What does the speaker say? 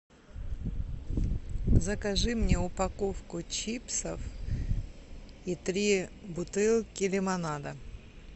закажи мне упаковку чипсов и три бутылки лимонада